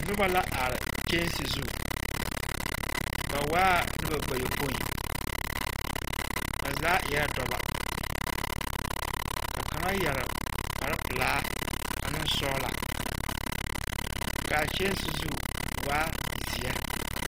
Noba la are kyɛnse zu. Ba waa la noba bayɔpoi. Ba zaa eɛ dɔbɔ, ka kaŋa yɛre kpare pelaa ane sɔgla, ka a kyɛnse zu waa zeɛ.